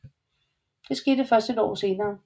Det skete først et år senere